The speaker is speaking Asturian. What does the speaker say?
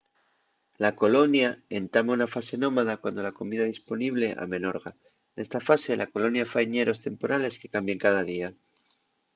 la colonia entama una fase nómada cuando la comida disponible amenorga nesta fase la colonia fai ñeros temporales que cambien cada día